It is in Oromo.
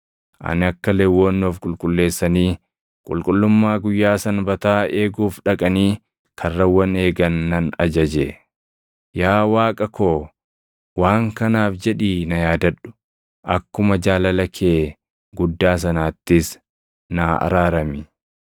Ani akka Lewwonni of qulqulleessanii qulqullummaa guyyaa Sanbataa eeguuf dhaqanii karrawwan eegan nan ajaje. Yaa Waaqa koo waan kanaaf jedhii na yaadadhu; akkuma jaalala kee guddaa sanaattis naa araarami.